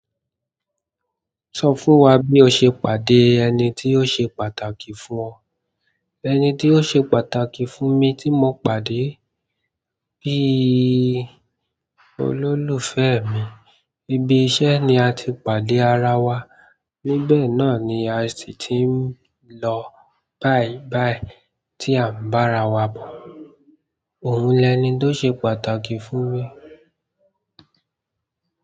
Sọ fún wa bí o ṣe pàdé ẹni tí ó ṣe pàtàkì fún ọ. Ẹni ti o ṣe pàtàkì fún mi ti mo pàdé bíi olólùfẹ́ mi ibi iṣẹ́ ni a ti pàdé ara wa. Níbẹ̀ náà ni a sì ti ń lọ bàìbàì tí à ń bá ara wa bọ̀. Òun lẹni tó ṣe pàtàkì fún mi.